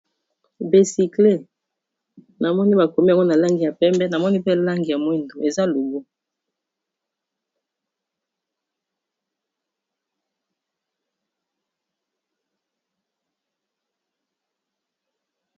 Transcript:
Becykle namoni bakomi yango na langi ya pembe namoni pe langi ya mwindo eza logo